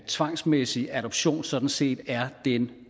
tvangsmæssig adoption sådan set er den